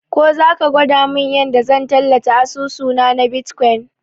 Ko zaka gwada mun yanda zan tallata asusuna na bitkwain